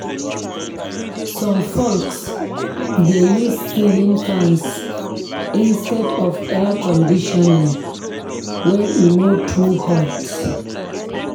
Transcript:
Some folks dey use ceiling fans instead of air conditioning when e no too hot.